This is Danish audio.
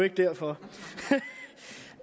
ikke derfor